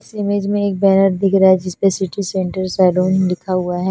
इस इमेज में एक बेंनर दिख रहा है जिसपे सिटी सेंटर सलून लिखा हुआ है।